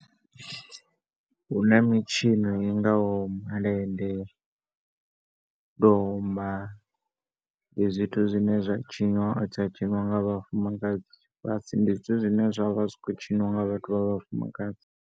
Hu na mitshino i ngaho malende, domba, ndi zwithu zwine zwa tshiniwa, zwa tshinwa nga vhafumakadzi, ndi zwithu zwine zwa zwi tshi khou tshiniwa nga vhathu vha vhafumakadzi.